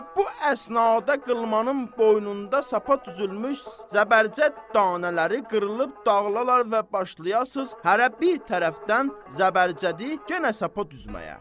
Və bu əsnada qılmanın boynunda sapa düzülmüş zəbərcəd danələri qırılıb dağılalar və başlayasan hərə bir tərəfdən zəbərcədi genə sapa düzməyə.